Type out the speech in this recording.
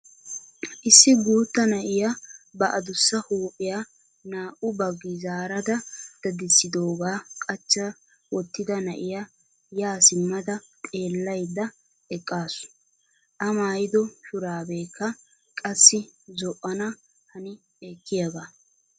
issi guutta na'iyaa ba adussa huphphiyaa naa"u baggi zaarada dadisoogaa qachcha wottida na'iyaa yaa simmada xeellayda eqqasu. a maayido shuraabekka qassi zo"ana hani ekkiyaagaa.